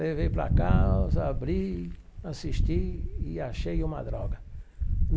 Levei para casa, abri, assisti e achei uma droga.